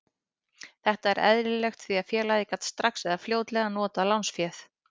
Þetta er eðlilegt því að félagið gat þá strax eða fljótlega notað lánsféð.